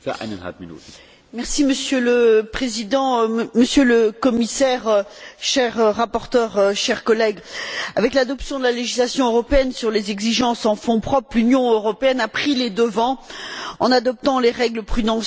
Monsieur le Président, Monsieur le Commissaire, cher rapporteur, chers collègues, avec l'adoption de la législation européenne sur les exigences de fonds propres, l'Union européenne a pris les devants en adoptant les règles prudentielles s'appliquant aux banques.